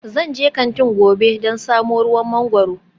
Zan je kantin gobe don samo ruwan mangwaro